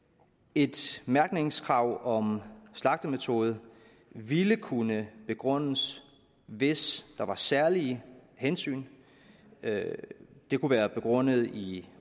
et mærkningskrav om slagtemetode ville kunne begrundes hvis der var særlige hensyn det kunne være begrundet i